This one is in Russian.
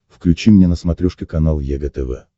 включи мне на смотрешке канал егэ тв